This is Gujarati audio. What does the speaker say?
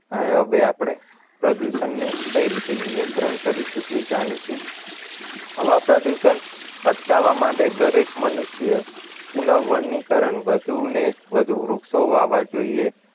અહીં હવે આપણે પ્રદૂષણને કઈ રીતે નિયંત્રણ કરીશું એ જાણીશું હવા પ્રદુષણ અટકાવવા માટે દરેક મનુષ્ય પુનઃ વનીકરણ વધુને વધુ વૃક્ષો વાવવા જોઈએ